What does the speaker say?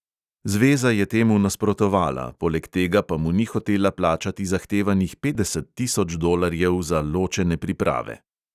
Zveza je temu nasprotovala, poleg tega pa mu ni hotela plačati zahtevanih petdeset tisoč dolarjev za ločene priprave.